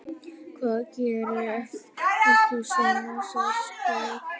Hvað gerir okkur svona sérstök?